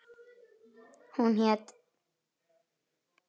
Hún hét